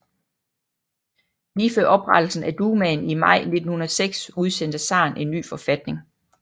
Lige før oprettelsen af Dumaen i maj 1906 udstedte zaren en ny forfatning